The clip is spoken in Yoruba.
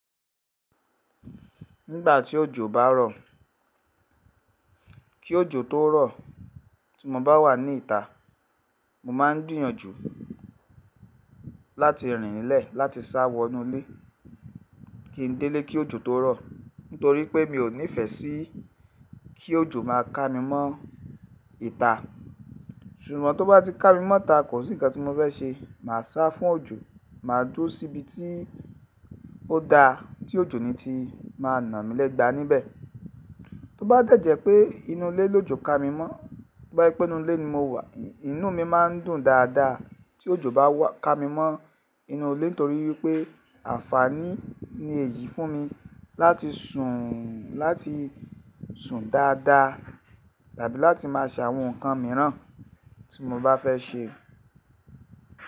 Nígbà tí òjò bá rọ̀, kí òjò tó rọ̀ tí mo bá wà ní ìta, mo máa ń gbìyànjú láti rìn nílẹ̀ láti sá wọ inú ilé. Kí n dé ilé kí òjò tó rọ̀, nítorí pé mi ò nífẹ́ sí kí òjò má a ká mi mọ́ ìta. Ṣùgbọ́n tó bá ti ká mi mọ́ ìta, kò sí ǹkan tí mo fẹ́ ṣe, mà á sá fún òjò, mà á dúró sí ibi tí ó da tí òjò ni ti má a na mi lẹ́gba níbẹ̀. Tó bá dẹ̀jẹ̀ pé inú ilé ló jọ ká mi mọ́, bá ẹ pé inú ilé ni mo wà, inú mi má ń dùn dáadáa tí òjò bá wà ká mi mọ́ inú ilé nítorí pé àǹfààní ni èyí fún mi láti sùn, láti sùn dáadáa tàbí láti máa ṣe àwọn ǹkan mìíràn tí mo bá fẹ́ ṣe.